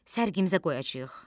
Sərgimizə qoyacağıq.